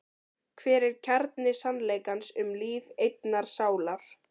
Hver er kjarni sannleikans um líf einnar sálar?